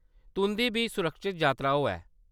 तुंʼदी बी सुरक्खत जातरा होऐ।